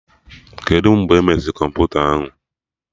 Kedụ mgbe emeziri kọmputa ahụ?